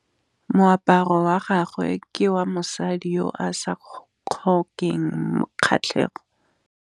Moaparô wa gagwe ke wa mosadi yo o sa ngôkeng kgatlhegô.